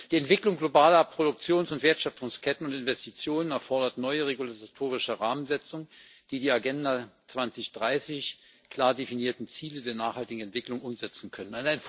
Die Entwicklung globaler Produktions und Wertschöpfungsketten und Investitionen erfordert neue regulatorische Rahmensetzungen, die die in der Agenda 2030 klar definierten Ziele der nachhaltigen Entwicklung umsetzen können.